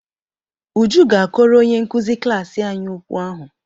Uju ga-akọrọ onye nkụzi klaasị anyị okwu ahụ.